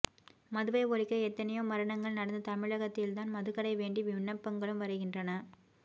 மதுவை ஒழிக்க எத்தனையோ மரணங்கள் நடந்த தமிழக்த்தில்தான் மதுகடை வேண்டி விண்ணப்பங்களும் வருகின்றன